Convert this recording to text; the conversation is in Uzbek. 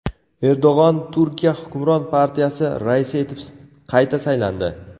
Erdo‘g‘on Turkiya hukmron partiyasi raisi etib qayta saylandi.